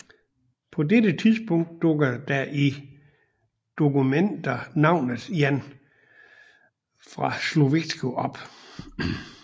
På dette tidspunkt dukker der i dokumenter navnet Jan Szaszko fra Sleszowice op